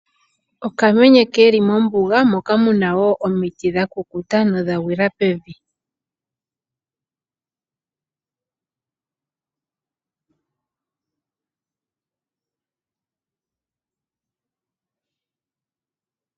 Okamenye keli mombuga moka muna wo omiti dha kukuta nodha gwila pevi. Ushitwe mombuga otawu monikiwa nawa wa opala shinene lela.